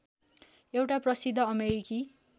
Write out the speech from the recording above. एउटा प्रसिद्ध अमेरिकी